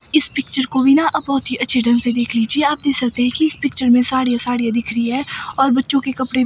इस पिक्चर को भी ना आप बहुत ही अच्छे ढंग से देख लीजिए आप देख सकते हैं कि इस पिक्चर में साड़ियां ही साड़ियां दिख रही है और बच्चों के कपड़े--